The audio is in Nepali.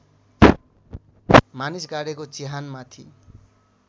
मानिस गाडेको चिहानमाथि